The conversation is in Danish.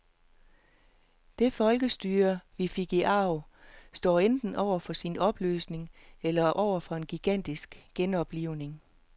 Det folkestyre, vi fik i arv, står enten over for sin opløsning eller over for en gigantisk genoplivning.